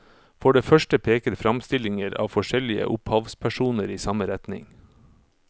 For det første peker framstillinger av forskjellige opphavspersoner i samme retning.